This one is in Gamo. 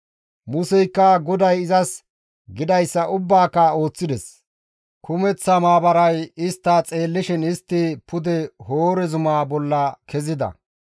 Museykka GODAY izas gidayssa ubbaaka ooththides; kumeththa maabaray istta xeellishin istti pude Hoore zumaa bolla kezida.